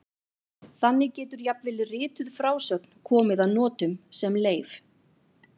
Þannig getur jafnvel rituð frásögn komið að notum sem leif.